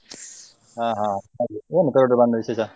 ಹಾ ಹಾ ಹಾಗೆ ಏನು Perdoor ಬಂದ ವಿಶೇಷ?